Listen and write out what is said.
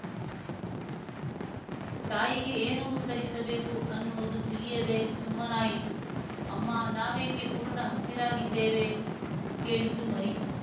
ತಾಯಿಗೆ ಏನು ಉತ್ತರಿಸಬೇಕು ಅನ್ನುವುದು ತಿಳಿಯದೆ ಸುಮ್ಮನಾಯಿತು ಅಮ್ಮ ನಾವೇಕೆ ಪೂರ್ಣ ಹಸಿರಾಗಿದ್ದೇವೆ ಕೇಳಿತು ಮರಿ